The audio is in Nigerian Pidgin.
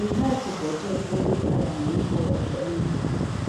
e hard to budget when okada money go up anyhow